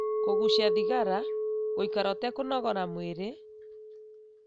kũgucia thigara, gũikara ũtekũnogora mwĩrĩ,